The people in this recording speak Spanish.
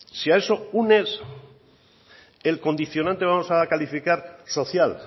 si a eso unes el condicionante vamos a calificar social